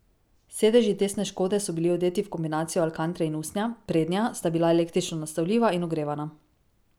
Sedeži testne škode so bili odeti v kombinacijo alkantre in usnja, prednja sta bila električno nastavljiva in ogrevana.